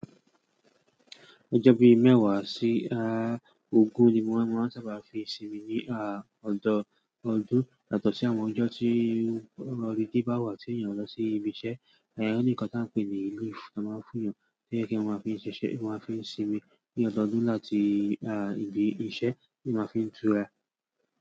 Ọjọ́ bíi mẹ́wàá sí, ogún ni wọ́n máa ń sábà fi sinmi ní, ọdọọdún. Yàtọ̀ sí àwọn ọjọ́ tí holiday báwà tí ènìyàn lọ sí ibi iṣẹ́, óní nǹkan tí à ń pè ní leave ti wọ́n ń fún'yàn tí ènìyàn fi ń sinmi ní ọdọọdún láti, ibi iṣẹ́, t'éèyàn fi ń tura.